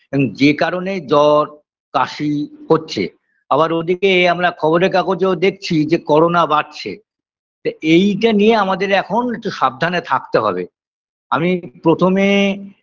যে কারণে জ্বর কাশি হচ্ছে আবার ওদিকে আমরা খবরের কাগজেও দেখছি যে করোনা বাড়ছে তা এইটা নিয়ে আমাদের এখন একটু সাবধানে থাকতে হবে আমি প্রথমে